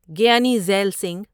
Giani Zail Singh